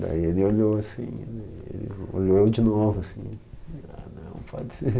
Daí ele olhou assim, olhou eu de novo assim, ah não pode ser.